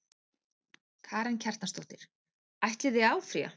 Karen Kjartansdóttir: Ætlið þið að áfrýja?